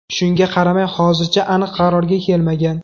Shunga qaramay hozircha aniq qarorga kelmagan.